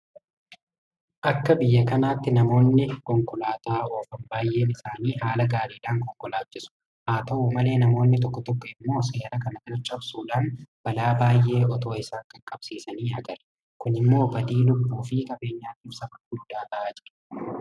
Akka biyya kanaatti namoonni konkolaataa oofan baay'een isaanii haala gaariidhaan konkolaachisu. Haata'u malee namoonni tokko tokko immoo seera kana cabsuudhaan balaa baay'ee itoo isaan qaqqabsiisanii agarra. Kun immoo badii lubbuufi qabeenyaatiif sababa guddaa ta'aa jira.